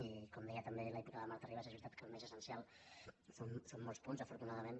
i com deia també la diputada marta ribas és veritat que el més essencial són molts punts afortunadament